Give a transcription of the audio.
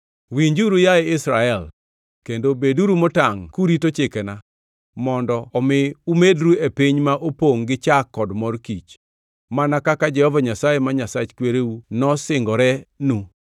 Winjuru, yaye Israel, kendo beduru motangʼ kurito chikena mondo omi umedru e piny ma opongʼ gi chak kod mor kich, mana kaka Jehova Nyasaye ma Nyasach kwereu nosingorenu.